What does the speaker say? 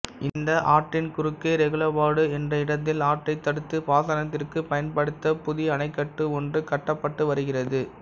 இந்த ஆற்றின் குறுக்கே ரேகுலப்பாடு என்ற இடத்தில் ஆற்றைத் தடுத்து பாசனத்திற்குப் பயன்படுத்த புதிய அணைக்கட்டு ஒன்று கட்டப்பட்டுவருகிறது